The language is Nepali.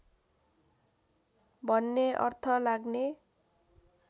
भन्ने अर्थ लाग्ने